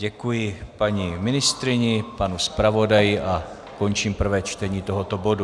Děkuji paní ministryni, panu zpravodaji a končím prvé čtení tohoto bodu.